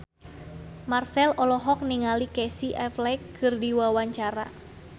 Marchell olohok ningali Casey Affleck keur diwawancara